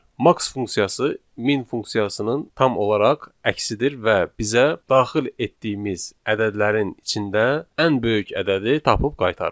Max funksiyası min funksiyasının tam olaraq əksidir və bizə daxil etdiyimiz ədədlərin içində ən böyük ədədi tapıb qaytarır.